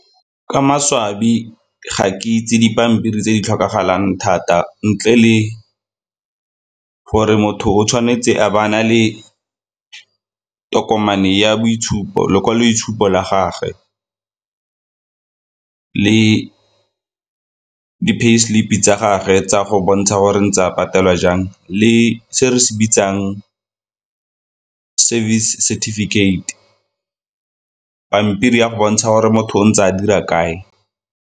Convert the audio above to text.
Ka maswabi ga ke itse dipampiri tse di tlhokagalang thata ntle le gore motho o tshwanetse a ba a na le tokomane ya boitshupo, lekwaloitshupo la gage le di pay slip-i tsa gagwe tsa go bontsha gore ntse a patelwa jang le se re se bitsang service setefikeite, pampiri ya go bontsha gore motho o ntse a dira kae.